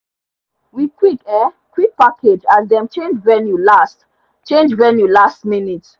we quick um quick package as them change venue last change venue last minute